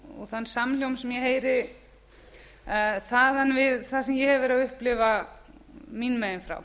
og þann samhljóm sem ég heyri þaðan við það sem ég hef verið að upplifa mín megin frá